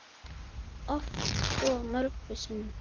Oft og mörgum sinnum.